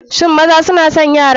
Shin maza suna son yara?